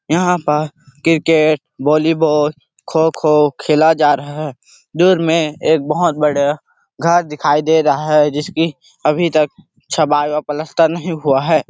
यहाँ पर cricket volleyball kho kho खेला जा रहा है दूर में एक बहुत बड़े घर दिखाई दे रहा है जैसे कि अभी तक छबाई और पलस्तर नहीं हुआ हैं ।